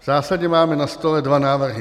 V zásadě máme na stole dva návrhy.